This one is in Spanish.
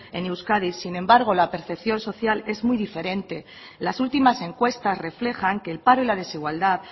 en euskadi sin embargo la percepción social es muy diferente las últimas encuestas reflejan que el paro y la desigualdad